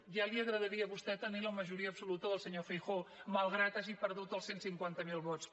ja li agradaria a vostè tenir la majoria absoluta del senyor feijóo malgrat que hagi perdut els cent i cinquanta miler vots